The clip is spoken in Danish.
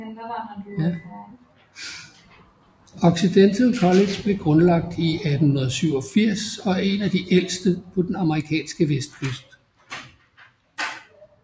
Occidental College blev grundlagt i 1887 og er en af de ældste på den amerikanske vestkyst